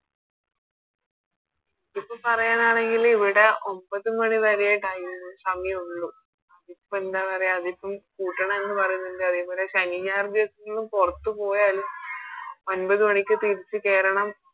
ഇപ്പൊ പറയാനാണെങ്കില് ഇവിടെ ഒൻപത് മണി വരെയാ Time സമായൊള്ളു അതിപ്പോ എന്താ പറയാ അതിപ്പോ കൂട്ടണന്ന് പറയ്നിണ്ട് അതേപോലെ ശനി ഞായർ ദിവസങ്ങളിലും പുറത്ത് പോയാല് ഒമ്പത് മണിക്ക് തിരിച്ച് കേറണം